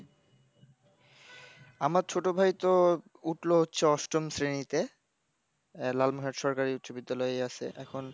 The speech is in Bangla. আমার ছোট ভাই তো উঠলো হচ্ছে অষ্টম শ্রেণীতে, লাল মহেশ সরকারী উচ্চবিদ্যালয়েই আছে। এখন,